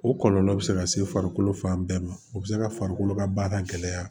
O kɔlɔlɔ bɛ se ka se farikolo fan bɛɛ ma o bɛ se ka farikolo ka baara gɛlɛya